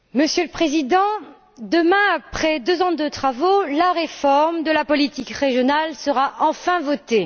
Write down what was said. Monsieur le Président, demain, après deux ans de travaux, la réforme de la politique régionale sera enfin votée.